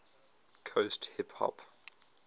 coast hip hop